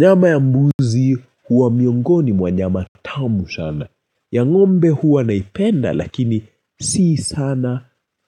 Nyama ya mbuzi huwa miongoni mwa nyama tamu shana. Ya ngombe huwa naipenda lakini sii sana